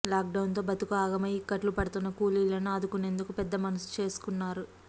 లాక్డౌన్తో బతుకు ఆగమై ఇక్కట్లు పడుతున్న కూలీలను ఆదుకునేందుకు పెద్ద మనసు చేసుకున్నారు